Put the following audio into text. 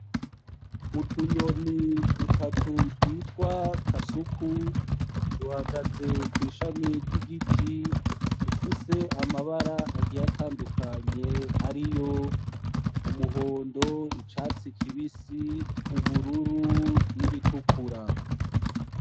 Utunyoni dutatu twitwa kasuku duhagaze ku ishami ry'igiti dufise amabara agiye atandukanye ari yo umuhondo, icatsi kibisi, ubururu n’iritukura.